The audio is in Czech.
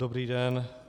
Dobrý den.